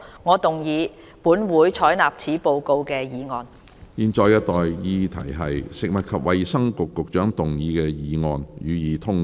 我現在向各位提出的待議議題是：食物及衞生局局長動議的議案，予以通過。